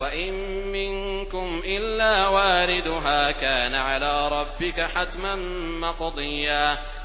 وَإِن مِّنكُمْ إِلَّا وَارِدُهَا ۚ كَانَ عَلَىٰ رَبِّكَ حَتْمًا مَّقْضِيًّا